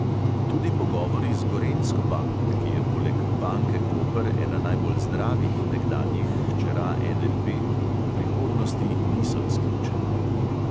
Tudi pogovori z gorenjsko banko, ki je poleg banke koper ena najbolj zdravih nekdanjih hčera NLB, v prihodnosti niso izključeni.